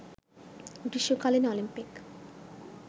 গ্রীষ্মকালীন অলিম্পিক